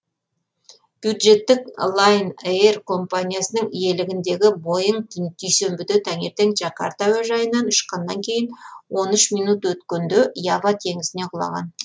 бюджеттік лайнэйр компаниясының иелігіндегі боинг дүйсенбіде таңертең джакарта әуежайынан ұшқаннан кейін он үш минут өткенде ява теңізіне құлаған